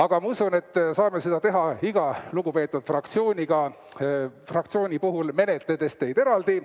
Aga ma usun, et saame seda teha iga lugupeetud fraktsiooni puhul eraldi.